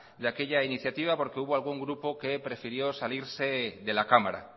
de aquella iniciativa porque hubo algún grupo que prefirió salirse de la cámara